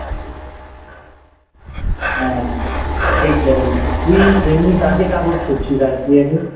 হ্যাঁ ঠিক বলেছিস তুই এমনি কাকে Support করছিস IPL এ?